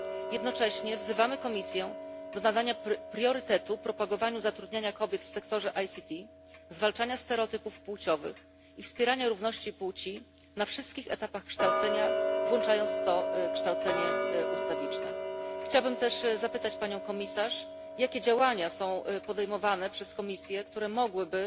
Jednocześnie wzywamy Komisję do nadania priorytetu propagowaniu zatrudniania kobiet w sektorze ICT, zwalczaniu stereotypów płciowych i wspieraniu równości płci na wszystkich etapach kształcenia, włączając w to kształcenie ustawiczne. Chciałbym też zapytać Panią Komisarz, jakie działania są podejmowane przez Komisję, aby